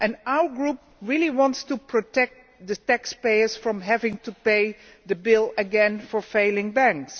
Our Group really wants to protect the taxpayers from having to pay the bill again for failing banks.